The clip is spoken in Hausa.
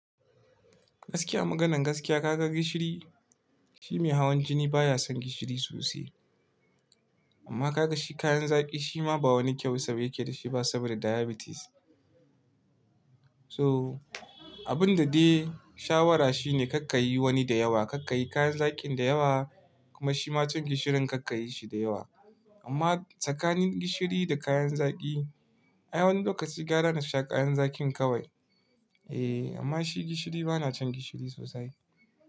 Gaskiya maganan gaskiya ka ga gishiri, shi mai hawan jini baya son gishiri sosai. Amma ka ga shi kayan zaki shi ma ba wani kyau saboda yake da shi ba saboda diabetes. So abun da dai shawara shine karka yi wani da yawa, karka yi kayan zakin da yawa kuma shi ma can gishirin karka yi shi da yawa. Amma tsakanin gishiri da kayan zaki, ai wani lokaci gara na sha kayan zakin kawai. Eh amma shi gishiri bana cin gishiri sosai.